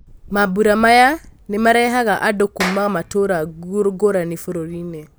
Mambũra maya nĩmarehaga andũ kuuma matũũra ngũrani bũrũrinĩ .